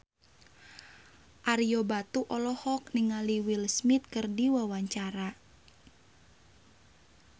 Ario Batu olohok ningali Will Smith keur diwawancara